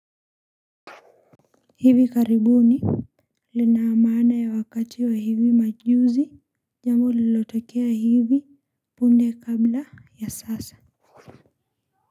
Hivi karibuni lina maana ya wakati wa hivi majuzi jambo lilotekea hivi punde kabla ya sasa.